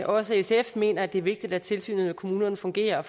også sf mener det er vigtigt at tilsynet med kommunerne fungerer og